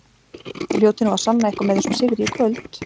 Þið hljótið nú að sanna eitthvað með þessum sigri í kvöld?